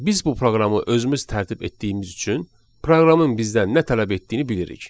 Biz bu proqramı özümüz tərtib etdiyimiz üçün proqramın bizdən nə tələb etdiyini bilirik.